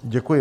Děkuji.